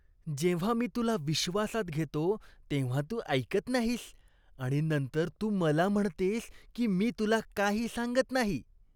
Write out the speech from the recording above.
जेव्हा मी तुला विश्वासात घेतो तेव्हा तू ऐकत नाहीस आणि नंतर तू मला म्हणतेस की मी तुला काही सांगत नाही.